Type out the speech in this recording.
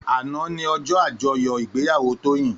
Àná ni òjò ájòyò igbéyàwó Toyin